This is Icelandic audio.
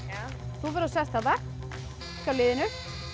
þú ferð og sest þarna hjá liðinu